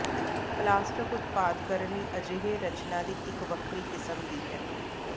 plastic ਉਤਪਾਦ ਕਰਨ ਲਈ ਅਜਿਹੇ ਰਚਨਾ ਦੀ ਇੱਕ ਵੱਖਰੀ ਕਿਸਮ ਦੀ ਹੈ